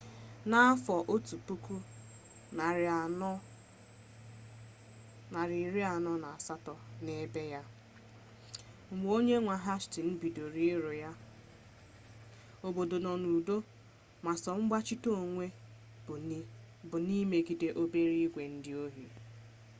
n'afọ 1480 n'ibe ya mgbe onye nwe hastins bidoro ịrụ ya obodo nọ n'udo ma sọ mgbachite onwe bụ n'imegide obere igwe ndị ohi